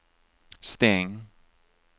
stäng